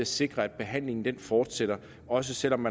sikre at behandlingen fortsætter også selv om